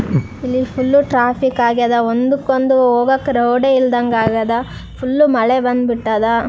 ಇಲ್ಲಿ full traffic ಆಗ್ಯದ ಒಂದಕ್ಕೊಂದು ಹೋಗಾಕ ರೋಡ್ ಇಲ್ದಂಗಾಗ್ಯದ ಫುಲ್ಲ್ ಮಳೆ ಬಂದ್ ಬಿಟ್ಟಾದ .